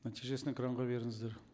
нәтижесін экранға беріңіздер